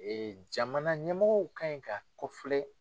Ee jamana ɲɛmɔgɔw ka ɲi ka kofilɛ